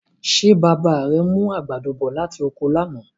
Ṣé bàbá rẹ mú àgbàdo bọ̀ láti oko lánàá?